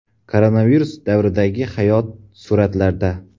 Koronavirus davridagi hayot suratlarda.